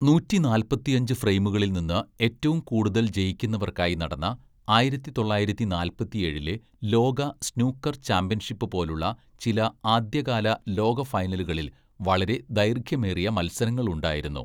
നൂറ്റിനാൽപ്പത്തിഅഞ്ച് ഫ്രെയിമുകളിൽനിന്ന് ഏറ്റവും കൂടുതൽ ജയിക്കുന്നവർക്കായി നടന്ന ആയിരത്തിതൊള്ളായിരത്തിനാൽപ്പത്തിഏഴിലെ ലോക സ്നൂക്കർ ചാമ്പ്യൻഷിപ്പ് പോലുള്ള ചില ആദ്യകാല ലോക ഫൈനലുകളിൽ വളരെ ദൈർഘ്യമേറിയ മത്സരങ്ങളുണ്ടായിരുന്നു.